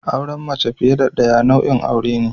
Auren mace fiye da daya nau'in aure ne.